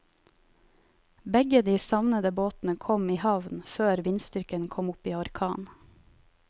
Begge de savnede båtene kom i havn før vindstyrken kom opp i orkan.